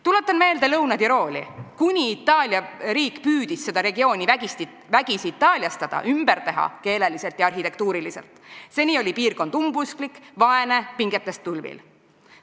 Tuletan meelde Lõuna-Tirooli – kuni Itaalia riik püüdis seda regiooni vägisi itaaliastada, ümber teha keeleliselt ja arhitektuuriliselt, seni oli piirkond umbusklik, vaene ja pingetest tulvil.